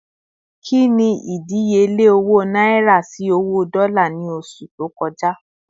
Kini ìdíyelé owó náírà sì owó dola ni oṣù tó kọja